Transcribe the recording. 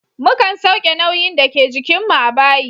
Mukan sauke nauyin dake jikin mu a bayi.